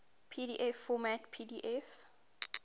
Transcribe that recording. pdf format pdf